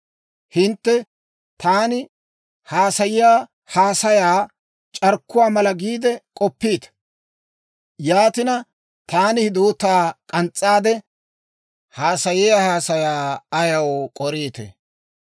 Hintte taani haasayiyaa haasayaa c'arkkuwaa mala giide k'oppiita. Yaatina, taani hidoota k'ans's'aade haasayiyaa haasayaa ayaw k'oriitee?